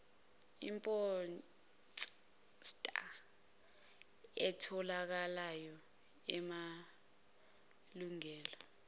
iphosta etholakalayo enamalungelo